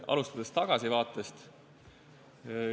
Alustan tagasivaatest.